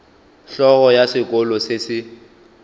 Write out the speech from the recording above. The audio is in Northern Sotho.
hlogo ya sekolo se se